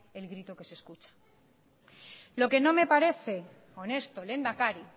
el grito que se escucha lo que no me parece honesto lehendakari